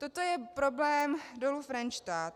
Toto je problém Dolu Frenštát.